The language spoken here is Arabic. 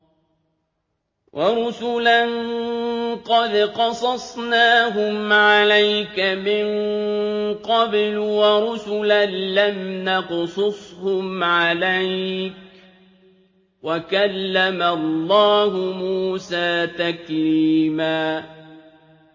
وَرُسُلًا قَدْ قَصَصْنَاهُمْ عَلَيْكَ مِن قَبْلُ وَرُسُلًا لَّمْ نَقْصُصْهُمْ عَلَيْكَ ۚ وَكَلَّمَ اللَّهُ مُوسَىٰ تَكْلِيمًا